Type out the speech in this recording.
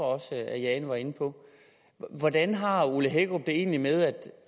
også at jane var inde på hvordan har herre ole hækkerup det egentlig med